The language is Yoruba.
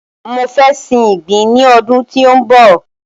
Mọ fẹ sin ìgbín ní ọdún tí ó ń bọ̀.